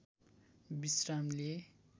विश्राम लिए